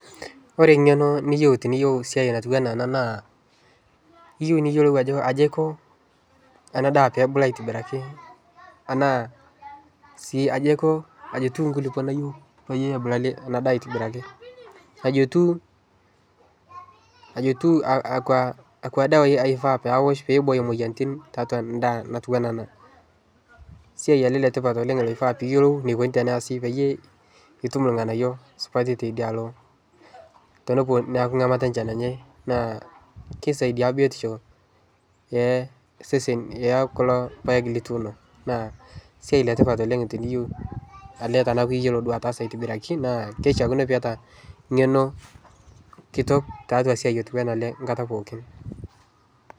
Ore eng'eno niyieu pee eyas ena naa keyieu niyiolou Ajo aji Aiko ena daa pee ebulu aitobiraki ashu aji etieu enkulupuok nayieu pee ebulu ena daa aitobiraki aji etieu akwa dawai eifaa nawosh pee eboyo moyiaritin tiatua endaa natuno nayieu ena ena esiai etipat naifaa pee eyiolou etum irng'anayio tee nesha amu kisaidia biotisho osesen kulo paek lituno naa esiai etipat oleng teniyiolou tenaa eyiolo ataasa aitobiraki naa kishakino naa eyata eng'eno enkata pookin